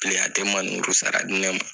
pili a tɛ maniburu sara di ne ma